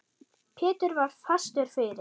Pétur var fastur fyrir.